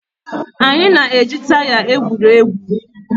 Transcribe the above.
Anyị na-eji taya egwuri egwu